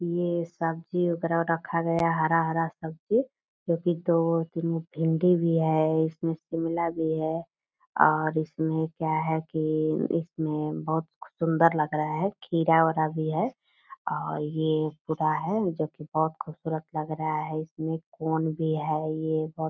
ये सब्जी वगेरा रखा गया है हरा हरा सब्जी जो की भिंडी भी है इसमे शिमला भी है और इसमे क्या है की इसमें बहुत सुंदर लग खीरा विरा भी है और जो की बहुत खूबसूरत लग रहा है। इसमे कोन भी है।